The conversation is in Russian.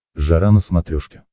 жара на смотрешке